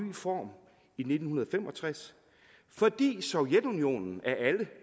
form i nitten fem og tres fordi sovjetunionen af alle